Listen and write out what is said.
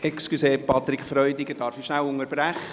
Entschuldigung, Patrick Freudiger, darf ich kurz unterbrechen?